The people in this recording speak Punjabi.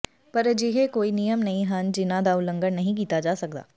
ਪਰ ਅਜਿਹੇ ਕੋਈ ਨਿਯਮ ਨਹੀਂ ਹਨ ਜਿਨ੍ਹਾਂ ਦਾ ਉਲੰਘਣ ਨਹੀਂ ਕੀਤਾ ਜਾ ਸਕਦਾ